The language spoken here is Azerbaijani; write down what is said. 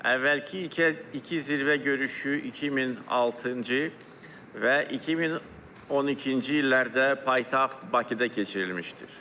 Əvvəlki iki iki zirvə görüşü 2006-cı və 2012-ci illərdə paytaxt Bakıda keçirilmişdir.